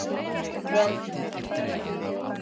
Dverghamri